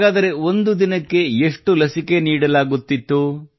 ಹಾಗಾದರೆ ಒಂದು ದಿನಕ್ಕೆ ಎಷ್ಟು ಲಸಿಕೆ ನೀಡಲಾಗುತ್ತಿತ್ತು